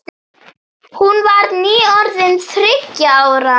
Hún var nýorðin þriggja ára.